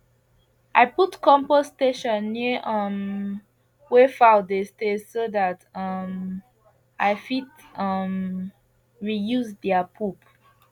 i put compost station near um where fowl dey stay so that um i fit um reuse their poop